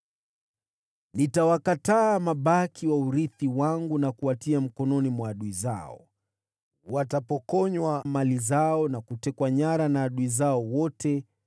Nitawakataa mabaki wa urithi wangu na kuwatia mikononi mwa adui zao. Watapokonywa mali zao na kutekwa nyara na adui zao wote,